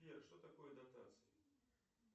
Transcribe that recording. сбер что такое дотации